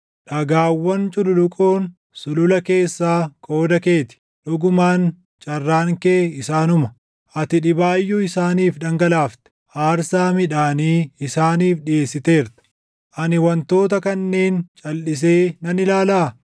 Dhagaawwan cululuqoon sulula keessaa qooda kee ti; dhugumaan carraan kee isaanuma. Ati dhibaayyuu isaaniif dhangalaafte; aarsaa midhaanii isaaniif dhiʼeessiteerta. Ani wantoota kanneen calʼisee nan ilaalaa?